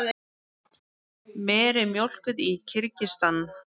Meri mjólkuð í Kirgistan.